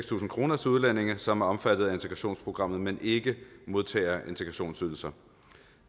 tusind kroner til udlændinge som er omfattet af integrationsprogrammet men ikke modtager integrationsydelse